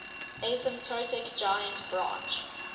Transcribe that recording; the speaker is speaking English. asymptotic giant branch